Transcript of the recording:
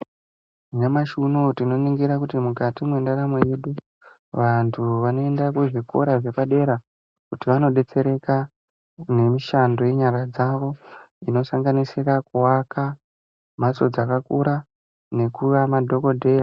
Nyamashi unou tinoningira kuti mukati mwendaramo yedu vanhu vanoenda kuzvikora zvepadera kuti vanodetsereka nemishando yenyara dzavo inosanganisira kuaka mhatso dzakakura nekuva madhokodheya.